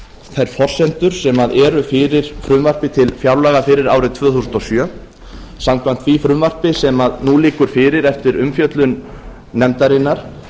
þær forsendur sem eru fyrir frumvarpi til fjárlaga fyrir árið tvö þúsund og sjö samkvæmt ári frumvarpi sem nú liggur fyrir eftir umfjöllun nefndarinnar